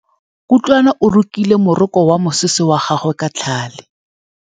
Kutlwanô o rokile morokô wa mosese wa gagwe ka tlhale.